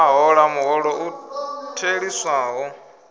a hola muholo u theliswaho